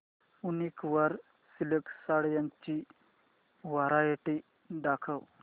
वूनिक वर सिल्क साड्यांची वरायटी दाखव